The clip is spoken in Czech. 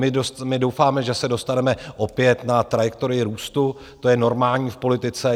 My doufáme, že se dostaneme opět na trajektorii růstu, to je normální v politice.